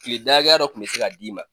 Kile da hakɛya dɔ kun bɛ se ka d'i ma.